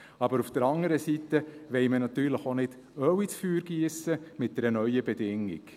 Aber auf der anderen Seite wollen wir natürlich auch nicht Öl ins Feuer giessen mit einer neuen Bedingung.